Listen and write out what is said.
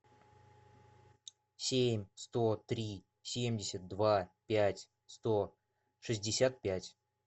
семь сто три семьдесят два пять сто шестьдесят пять